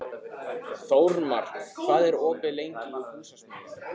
Þórmar, hvað er opið lengi í Húsasmiðjunni?